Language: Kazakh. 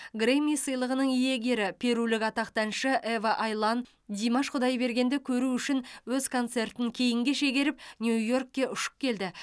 грэмми сыйлығының иегері перулік атақты әнші ева айлан димаш құдайбергенді көру үшін өз концертін кейінге шегеріп нью йоркке ұшып келді